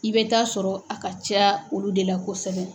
I bɛ taa sɔrɔ a ka caya olu de la kosɛbɛ.